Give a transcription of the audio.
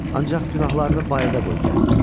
Ancaq günahlarını bayırda qoy gəl.